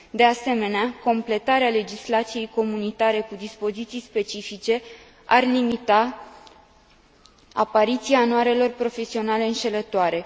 De asemenea, completarea legislației comunitare cu dispoziții specifice ar limita apariția anuarelor profesionale înșelătoare.